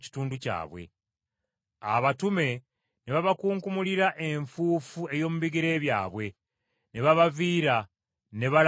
Abatume ne babakunkumulira enfuufu ey’omu bigere byabwe, ne babaviira ne balaga mu Ikoniya.